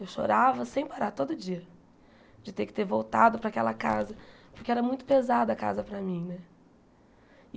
Eu chorava sem parar, todo dia, de ter que ter voltado para aquela casa, porque era muito pesada a casa para mim né.